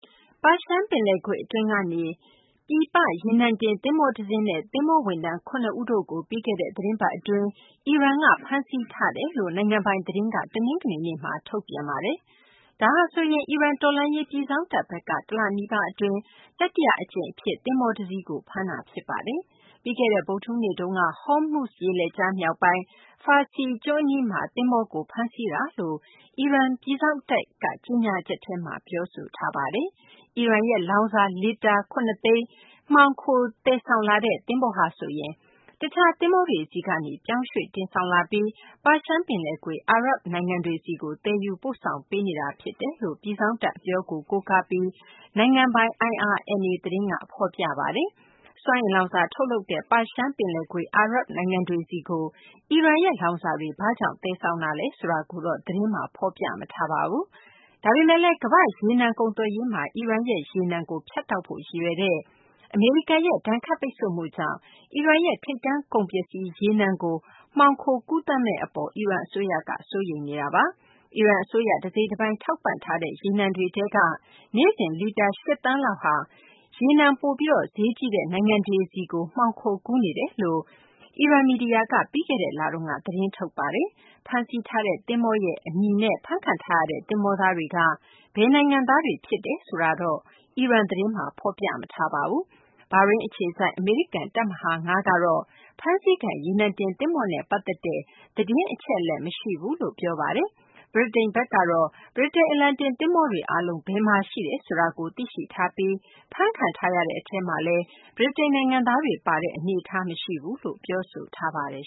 ပါရှန် ပင်လယ်ကွေ့ အတွင်းကနေ ပြည်ပ ရေနံတင် သဘောၤ တစင်းနဲ့ သဘောၤဝန်ထမ်း ၇ ဦးတို့ကို ပြီးခဲ့တဲ့ သီတင်းပတ် အတွင်း အီရန်က ဖမ်းဆီးထားကြောင်း နိုင်ငံပိုင် သတင်းက တနင်္ဂနွေနေ့မှာ ထုတ်ပြန်ပါတယ်။ ဒါဟာဆိုရင် အီရန် တော်လှန်ရေး ပြည်စောင့်တပ် ဘက်က တလနီးပါး အတွင်း တတိယ အကြိမ် အဖြစ် သဘောၤ တစီးကို ဖမ်းဆီးတာ ဖြစ်ပါတယ်။ ပြီးခဲ့တဲ့ ဗုဒ္ဓဟူးနေ့တုန်းက ဟောမုဇ် ရေလက်ကြား မြောက်ပိုင်း Farsi ကျွန်း အနီးမှာ သဘောၤကို ဖမ်းဆီးခဲ့တာလို့ အီရန် ပြည်စောင့်တပ်က ကြေညာချက်ထဲမှာ ပြောဆိုထားပါတယ်။ အီရန်ရဲ့ လောင်စာ လီတာ ၇၀၀,၀၀၀ မှောင်ခို သယ်ဆောင်လာတဲ့ သဘောၤဟာဆိုရင် တခြား သဘောၤတွေဆီကနေ ပြောင်းရွှေ့ တင်ဆောင်လာပြီး ပါရှန် ပင်လယ်ကွေ့ အာရပ် နိုင်ငံတွေဆီကို သယ်ယူပို့ဆောင်ပေးနေတာ ဖြစ်တယ်လို့ ပြည်စောင့်တပ် အပြောကို ကိုးကားပြီး နိုင်ငံပိုင် IRNA သတင်းက ဖော်ပြပါတယ်။ စွမ်းအင်လောင်စာ ထုတ်လုပ်တဲ့ ပါရှန် ပင်လယ်ကွေ့ အာရပ်နိုင်ငံတွေဆီကို အီရန်ရဲ့ လောင်စာတွေ ဘာကြောင့် သယ်ဆောင်တာလဲ ဆိုတာကိုတော့ သတင်းမှာ ဖော်ပြမထားပါဘူး။ ဒါပေမယ့်လည်း ကမ္ဘာ့ ရေနံ ကုန်သွယ်ရေးမှာ အီရန်ရဲ့ ရေနံကို ဖြတ်တောက်ဖို့ ရည်ရွယ်တဲ့ အမေရိကန်ရဲ့ ဒဏ်ခတ်ပိတ်ဆို့မှုကြောင့် အီရန်ရဲ့ ထိပ်တန်း ကုန်ပစ္စည်း ရေနံကို မှောင်ခိုကူးသန်းမှု အပေါ် အီရန် အစိုးရက စိုးရိမ်နေတာပါ။ အီရန် အစိုးရက တစိတ်တပိုင်း ထောက်ပံ့ထားတဲ့ ရေနံတွေထဲက နေ့စဉ် လီတာ ၈ သန်းလောက်ဟာ ရေနံပိုပြီး ဈေးကြီးတဲ့ နိုင်ငံတွေဆီုကို မှောင်ခိုကူးနေတယ်လို့ အီရန် မီဒီယာက ပြီးခဲ့တဲ့ လတုန်းက သတင်းထုတ်ပါတယ်။ ဖမ်းဆီးထားတဲ့ သဘောၤရဲ့ အမည်နဲ့ ဖမ်းခံထားရတဲ့ သဘောၤသားတွေက ဘယ်နိုင်ငံသားတွေ ဖြစ်တယ်ဆိုတာကိုတော့ အီရန် သတင်းမှာ မဖော်ပြပါဘူး။ ဘာရိန်း အခြေစိုက် အမေရိကန် တပ်မဟာ ၅ ကတော့ ဖမ်းဆီးခံ ရေနံတင် သဘောၤနဲ့ ပတ်သက်တဲ့ သတင်း အချက်အလက် မရှိကြောင်း ပြောပါတယ်။ ဗြိတိန် ဘက်ကတော့ ဗြိတိန် အလံတင် သဘောၤတွေ အားလုံး ဘယ်မှာ ရှိတယ်ဆိုတာကို သိရှိထားပြီး ဖမ်းခံထားရတဲ့ အထဲမှာလည်း ဗြိတိန် နိုင်ငံသားတွေ ပါတဲ့ အနေအထားမျိုး မရှိကြောင်း ပြောဆိုထားပါတယ်